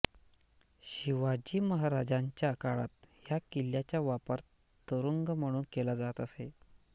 शिवाजी महाराजांच्या काळात या किल्ल्याचा वापर तुरुंग म्हणून केला जात असे